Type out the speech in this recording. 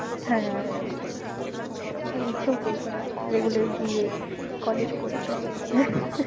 হ্যাঁ আর ইচ্ছেও করবে না regular গিয়ে college করতে